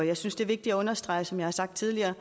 jeg synes det er vigtigt at understrege som jeg har sagt tidligere